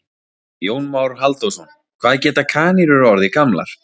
Jón Már Halldórsson: Hvað geta kanínur orðið gamlar?